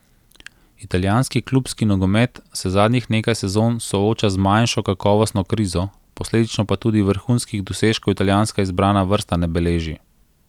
Italijanski klubski nogomet se zadnjih nekaj sezon sooča z manjšo kakovostno krizo, posledično pa tudi vrhunskih dosežkov italijanska izbrana vrsta ne beleži.